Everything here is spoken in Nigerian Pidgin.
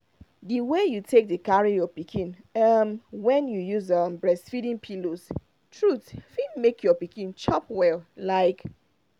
the way you take dey carry your pikin um when you use um breastfeeding pillows truth fit make your pikin chop well like